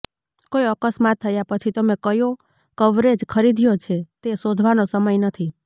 કોઈ અકસ્માત થયા પછી તમે કયો કવરેજ ખરીદ્યો છે તે શોધવાનો સમય નથી